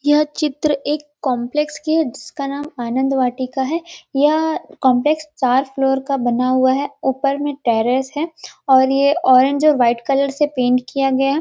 यह चित्र एक कॉम्प्लेक्स की है जिसका नाम आनंद वाटिका है यह कॉम्प्लेक्स चार फ्लोर का बना हुआ है ऊपर में टेरेस है और ये ऑरेंज और वाइट कलर से पेंट किया गया है।